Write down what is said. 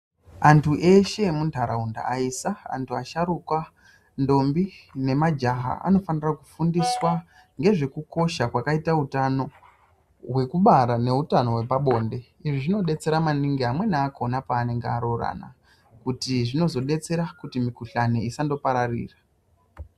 Antu eshe emuntaraunda aisa, antu asharuka, ndombo nemajaha anofanira kufundiswa ngezvekukosha kwakaita utano hwekubara neutano hwepabonde. Izvi zvinodetsera maningi amweni akhona panenge aroorana kuti zvinozodetsera kuti mikhuhlani isandopararira.